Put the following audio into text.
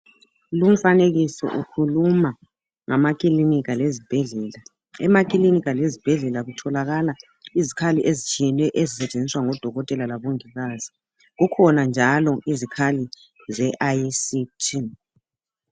Lumfanekiso ukhuluma ngamakilinika lezibhedlela .Emakilinika lezibhedlela kutholakala izkhali ezitshiyeneyo ezisetshenziswa ngodokotela labongikazi .Kukhona njalo izikhali zeICT